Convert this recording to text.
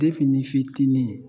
n'i fitinin